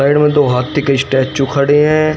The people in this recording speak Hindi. साइड में दो हाथी के स्टैचू खड़े हैं।